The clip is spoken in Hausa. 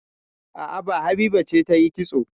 A'a, ba Habiba ce ta yi kitso